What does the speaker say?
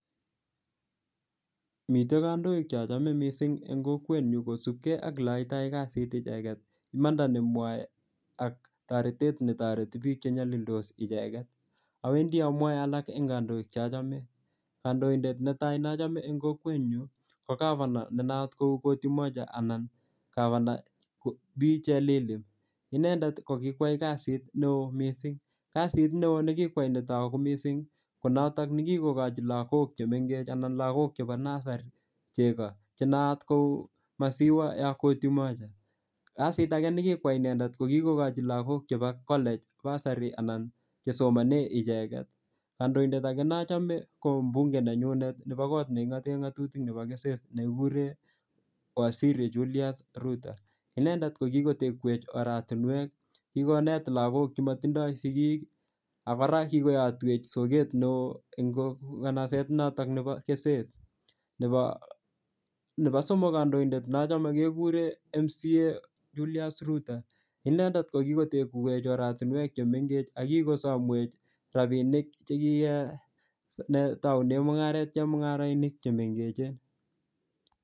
Mitei kandoik chachome mising' eng' kokwenyu kosupkei ak oleaitai kasit icheget imanda nemwoei ak toretet netoreti piik chenyolildos icheget awendi amwoe alak eng' kandoik chachome kandoindet netai nachome eng' kokwenyu ko governor nenayat kou koti moja anan governor Bee Chelilim inendet ko kiwai kasit neo mising kasit neo nikikwai netoku mising konoto nikikokochi lakok chemengech anan lakok chebo nasari cheko chenayat kou maziwa ya koti moja kasit age nekikwai inendet ko kikokochi lakok alak chebo college bursary anan chesomone icheget kandoindet ake nachome ko mbunge nenyunet nebo kot neking'ote ng'otutik nebo keses nekikure waziri Julius Ruto inendet kokikotekwech oratinwek kikonet lagok chematindoi sikik akora kikoyotwech soket neo eng kanaset noto nebo keses nebo somok kandoindet nachome kekure MCA Julius Ruto inendet ko kikotekwech oratinwek chemengech akokikosomwech rapinik chekikotoune mung'aret chemung'arainik chemengechen